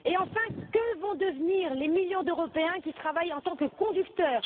Et, enfin, que vont devenir les millions d'Européens qui travaillent en tant que conducteurs?